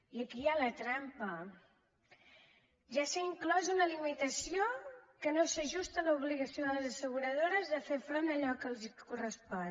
i aquí hi ha la trampa ja s’ha inclòs una limitació que no s’ajusta a l’obligació de les asseguradores de fer front a allò que els correspon